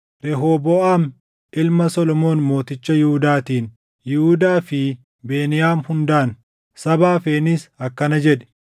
“Rehooboʼaam ilma Solomoon mooticha Yihuudaatiin, Yihuudaa fi Beniyaam hundaan, saba hafeenis akkana jedhi;